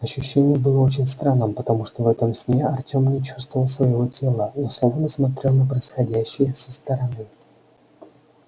ощущение было очень странным потому что в этом сне артем не чувствовал своего тела но словно смотрел на происходящее со стороны